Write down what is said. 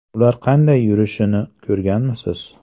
Ular qanday yurishini ko‘rganmisiz?